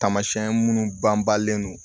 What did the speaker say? Tamasiyɛn minnu banbalen don